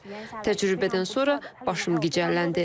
Təcrübədən sonra başım gicəlləndi.